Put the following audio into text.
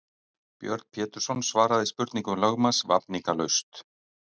Björn Pétursson svaraði spurningum lögmanns vafningalaust.